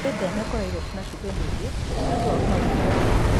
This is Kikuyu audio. Wĩthema kũrĩa irio irĩ na cumbĩ mũingĩ nĩ ũndũ wa ũgima mwega wa higo.